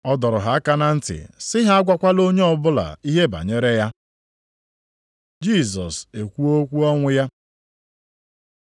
Ọ dọrọ ha aka na ntị sị ha agwakwala onye ọbụla ihe banyere ya. Jisọs ekwuo okwu ọnwụ ya